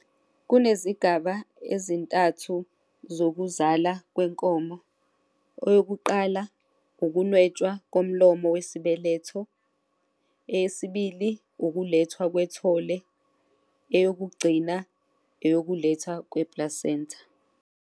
Kunezigaba ezintathu zokuzala kwenkomo. Eyokuqala, ukunwetshwa komlomo wesibeletho eyesibili ukulethwa kwethole eyokugcina eyokuletha kweplasentha.